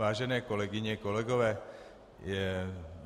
Vážené kolegyně, kolegové.